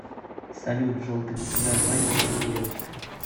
салют желтый государь мальчик или девочка